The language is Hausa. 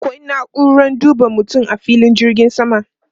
Akwai na'uran duba mutum a filin jirgin sama.